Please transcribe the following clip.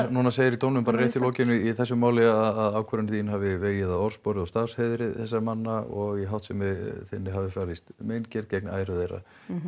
núna segir í dómnum rétt í lokin á þessu máli að ákvörðun þín hafi vegið af orðspori og starfsheiðri þessara manna og í háttsemi þinni hafi falist meingerð gegn æru þeirra